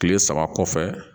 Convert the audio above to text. Kile saba kɔfɛ